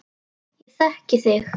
Ég þekki þig.